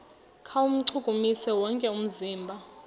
kuwuchukumisa wonke umzimba